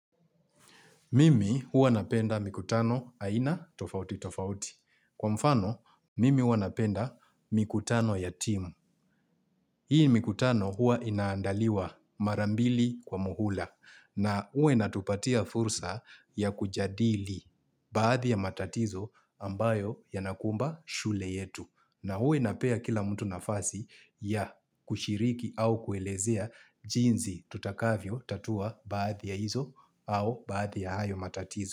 Mimi hua napenda mikutano aina tofauti tofauti. Kwa mfano, mimi hua napenda mikutano ya timu. Hii mikutano hua inaandaliwa mara mbili kwa muhula. Na hua inatupatia fursa ya kujadili baadhi ya matatizo ambayo yanakumba shule yetu. Na huwa inapea kila mtu nafasi ya kushiriki au kuelezea jinsi tutakavyo tatua baadhi ya hizo au baadhi ya hayo matatizo.